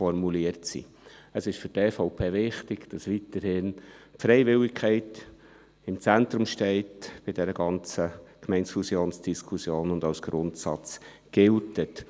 Für die EVP ist es wichtig, dass die Freiwilligkeit bei dieser ganzen Gemeindefusionsdiskussion weiterhin im Zentrum steht und als Grundsatz gilt.